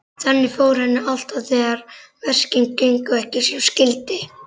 Þannig fór henni alltaf þegar verkin gengu ekki sem skyldi.